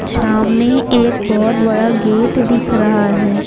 सामने एक बहुत बड़ा गेट दिख रहा है।